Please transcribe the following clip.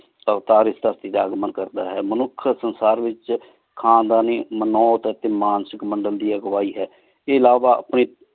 ਤਾਵ੍ਤਾਰ ਇਸ ਧਰਤੀ ਟੀ ਆ ਕ ਮਨ ਕਰਦਾ ਹੈ ਮਨੁਖ ਸੰਸਾਰ ਵਿਚ ਖਾਨਦਾਨੀ ਮਾਨੋੱਟ ਟੀ ਮਾਨਸਿਕ ਮੰਡਲ ਦੀ ਅਘ੍ਵਾਹੀ ਹੈ ਇਲਾਵਾ ਆਪਣੀ